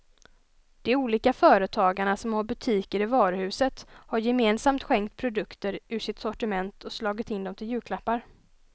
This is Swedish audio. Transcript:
De olika företagarna som har butiker i varuhuset har gemensamt skänkt produkter ur sitt sortiment och slagit in dem till julklappar.